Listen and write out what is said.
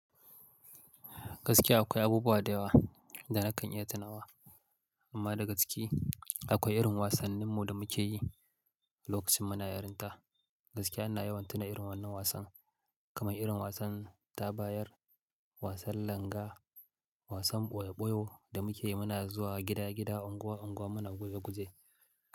Gaskiya akwai abubuwa da yawa da na kan iya tunawa, amma dagaske akwai irin wasannin mu da muke yi lokacin muna yarinta. Gaskiya ina yawan tuna irin wannan wasan, kamar irin wasan tabayar, wasan langa, wasan ɓoyo-ɓoyo da muke yi muna zuwa gida-gida, unguwa-unguwa muna guje-guje.